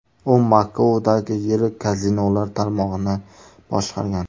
U Makaodagi yirik kazinolar tarmog‘ini boshqargan.